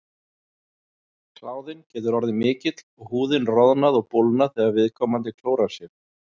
Kláðinn getur orðið mikill og húðin roðnað og bólgnað þegar viðkomandi klórar sér.